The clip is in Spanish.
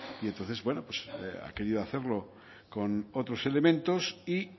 y entonces bueno pues ha querido hacerlo con otros elementos y